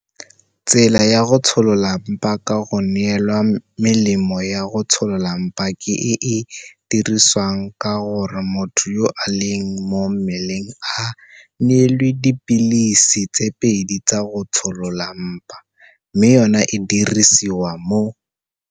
Tsela ya go tsholola mpa ka go neelwa melemo ya go tsholola mpa ke e e diriwang ka gore motho yo a leng mo mmeleng a neelwe dipilisi tse pedi tsa go tsholola mpa, mme yona e dirisiwa mo